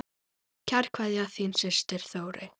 Kær kveðja, þín systir Þórey.